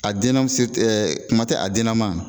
A den na mu se ɛɛ kuma te a dennaman ma